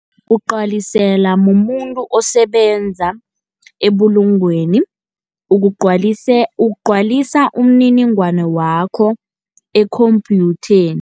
Ugcwaliselwa mumuntu osebenza ebulungweni ugcwalisa umininingwana wakho ekhomphyutheni.